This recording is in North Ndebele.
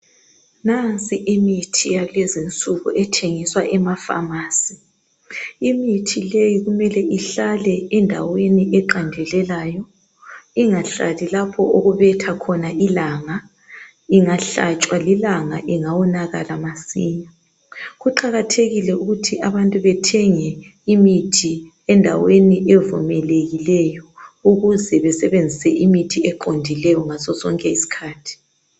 Nansi imithi yakulezi insuku ethengiswa ema phamarcy. Imithi leyi kumele ihlale endaweni eqandelelayo, ingahlali lapho okubetha khona ilanga, ingahlatshwa lilanga ingawonakala masinya. Kuqakathekile ukuthi abantu bethenge imithi endaweni evumelekileyo ukuze besebenzise imithi eqondileyo ngasosonke isikhathi.